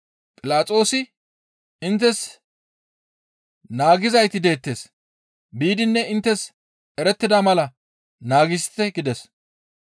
Philaxoosi, «Inttes naagizayti deettes; biidinne inttes erettida mala naagisite» gides.